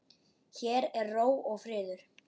Hér er ró og friður.